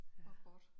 Det var godt